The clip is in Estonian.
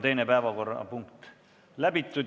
Teine päevakorrapunkt on läbi arutatud.